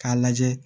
K'a lajɛ